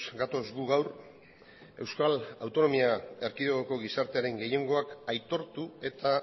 gatoz gu gaur euskal autonomia erkidegoko gizartearen gehiengoak aitortu eta